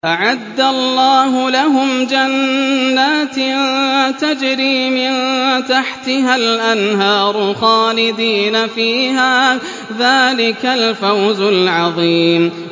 أَعَدَّ اللَّهُ لَهُمْ جَنَّاتٍ تَجْرِي مِن تَحْتِهَا الْأَنْهَارُ خَالِدِينَ فِيهَا ۚ ذَٰلِكَ الْفَوْزُ الْعَظِيمُ